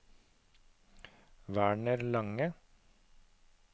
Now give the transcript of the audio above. Werner Lange